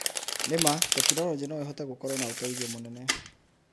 Nĩma tekinoronjĩ no ĩhote gũkorwo na ũteithio mũnene.